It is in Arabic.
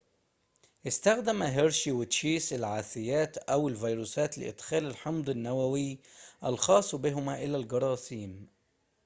استخدم هيرشي وتشيس العاثيات أو الفيروسات لإدخال الحمض النوويّ الخاصّ بهما إلى الجراثيم